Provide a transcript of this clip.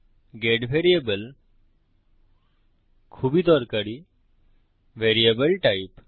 gate variable খুবই দরকারী variable type